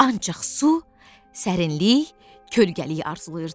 Ancaq su, sərinlik, kölgəlik arzulayırdım.